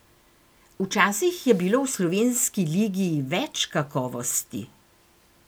Včasih je bilo v slovenski ligi več kakovosti.